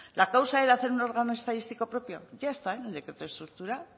la causa era hacer un órgano estadístico propio ya está en el decreto de estructura